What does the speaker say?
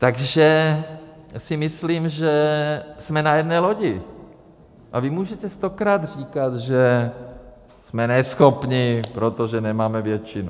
Takže si myslím, že jsme na jedné lodi, a vy můžete stokrát říkat, že jsme neschopní, protože nemáme většinu.